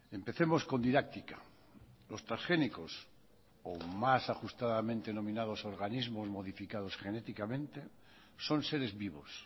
empecemos con didáctica los transgénicos o más ajustadamente nominados organismos modificados genéticamente son seres vivos